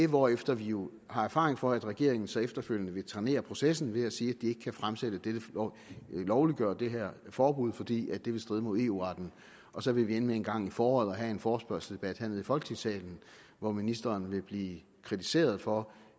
hvorefter vi jo har erfaring for at regeringen så efterfølgende vil trænere processen ved at sige at de ikke kan lovliggøre det her forbud fordi det vil stride mod eu retten og så vil vi ende med en gang i foråret at have en forespørgselsdebat hernede i folketingssalen hvor ministeren vil blive kritiseret for